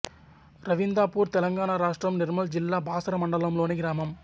రవిందాపూర్ తెలంగాణ రాష్ట్రం నిర్మల్ జిల్లా బాసర మండలంలోని గ్రామం